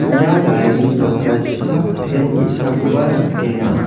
ia garini jakrachipak pen ge·sakoba nikenga.